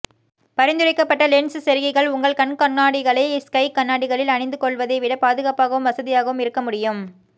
பரிந்துரைக்கப்பட்ட லென்ஸ் செருகிகள் உங்கள் கண்கண்ணாடிகளை ஸ்கை கண்ணாடிகளில் அணிந்துகொள்வதைவிட பாதுகாப்பாகவும் வசதியாகவும் இருக்க முடியும்